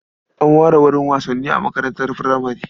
An ware wurin wasanni a makarantar furamare.